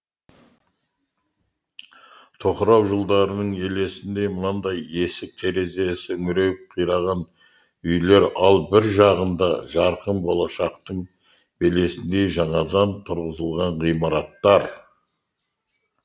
тоқырау жылдарының елесіндей мынандай есік терезесі үңірейіп қираған үйлер ал бір жағында жарқын болашақтың белесіндей жаңадан тұрғызылған ғимараттар